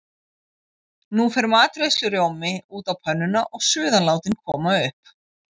Nú fer matreiðslurjómi út á pönnuna og suðan látin koma upp.